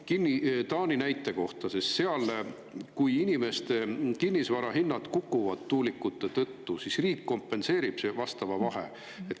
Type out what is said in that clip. Kui inimeste kinnisvarahinnad seal kukuvad tuulikute tõttu, siis riik kompenseerib selle vahe.